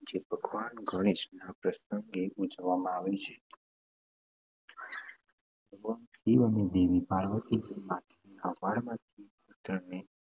જે ભગવાન ગણેશના પ્રસંગે ઉજવવામાં આવે છે. ભગવાન શિવ અને દેવી પાર્વતીના હાથીના માથાવાળા પુત્રને